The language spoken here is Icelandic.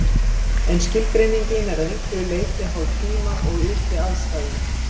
En skilgreiningin er að einhverju leyti háð tíma og ytri aðstæðum.